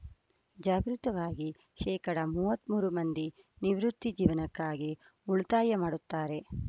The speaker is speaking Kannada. ಜಾಗ್ರತವಾಗಿ ಶೇಕಡಾ ಮೂವತ್ಮೂರು ಮಂದಿ ನಿವೃತ್ತಿ ಜೀವನಕ್ಕಾಗಿ ಉಳಿತಾಯ ಮಾಡುತ್ತಾರೆ